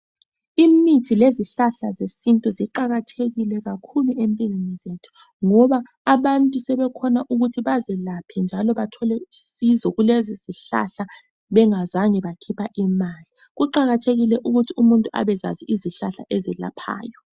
Imithi lezihlahla zesintu ziqakathekile kakhulu empilweni zethu, ngoba abantu sebekhona ukuthi bazelaphe njalo bathole usizo kulezi zihlahla bengazange bakhipha imali. Kuqakathekile ukuthi umuntu abezazi izihlahla ezelaphayo.